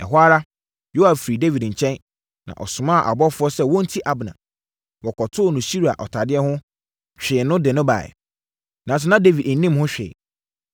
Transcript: Ɛhɔ ara, Yoab firi Dawid nkyɛn, na ɔsomaa abɔfoɔ sɛ wɔnti Abner. Wɔkɔtoo no Sira ɔtadeɛ ho, twee no de no baeɛ. Nanso, na Dawid nnim ho hwee.